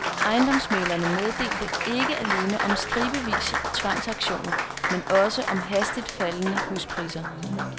Ejendomsmæglerne meldte ikke alene om stribevis af tvangsauktioner, men også om hastigt faldende huspriser.